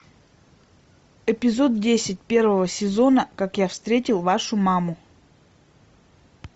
эпизод десять первого сезона как я встретил вашу маму